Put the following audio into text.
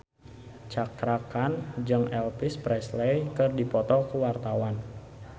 Cakra Khan jeung Elvis Presley keur dipoto ku wartawan